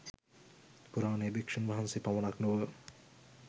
පුරාණයේ භික්ෂූන් වහන්සේ පමණක් නොව